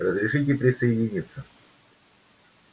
разрешите присоединиться